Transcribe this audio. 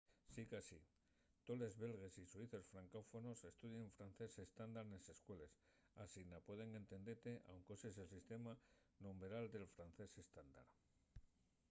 sicasí tolos belgues y suizos francófonos estudien francés estándar nes escueles asina pueden entendete anque uses el sistema numberal del francés estándar